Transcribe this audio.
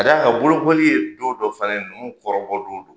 K'a d'a kan bolokoli ye don dɔ fana ye, ninnu kɔrɔbɔ don don.